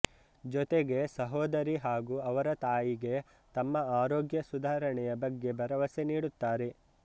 ಜೊತೆಗೆ ಸಹೋದರಿ ಹಾಗು ಅವರ ತಾಯಿಗೆ ತಮ್ಮ ಆರೋಗ್ಯ ಸುಧಾರಣೆಯ ಬಗ್ಗೆ ಭರವಸೆ ನೀಡುತ್ತಾರೆ